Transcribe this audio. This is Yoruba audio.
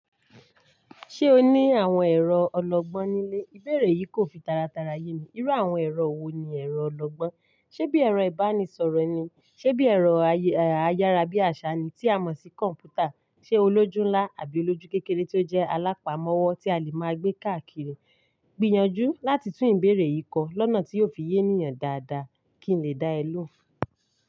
Ṣé o ní àwọn ẹ̀rọ ọlọ́gbọ́n nílé? Ìbéèrè yìí kò fi taratara yé mi. Irú àwọn ẹ̀rọ wo ni ẹ̀rọ ọlọ́gbọ́n? Ṣé bí ẹ̀rọ ìbánisọ̀rọ̀ ni, ṣe bí ẹ̀rọ ayárabíàṣá ni tí a mọ̀ sí kọ̀m̀pútà, ṣe olójú ńlá àbí olójú kékeré tí ó jẹ́ alápámọ́wọ́ tí a lè máa gbé káàkiri. Gbìyànjú láti tún ìbéèrè yìí kọ lọ́nà tí yóò fi yé ènìyàn dáadáa kí ń lè dá ẹ ló.